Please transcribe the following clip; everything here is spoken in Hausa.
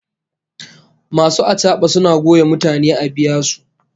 Masu achaba suna goya mutane a biya su